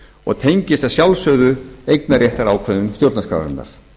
og tengist að sjálfsögðu eignarréttarákvæðum stjórnarskrárinnar